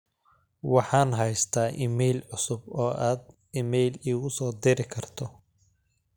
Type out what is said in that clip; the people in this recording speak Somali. waxaan haystaa iimayl cusub oo aad iimayl igu soo diri karto